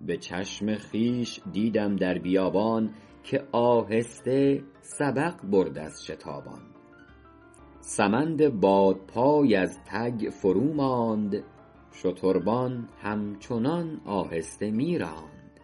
به چشم خویش دیدم در بیابان که آهسته سبق برد از شتابان سمند بادپای از تک فرو ماند شتربان هم چنان آهسته می راند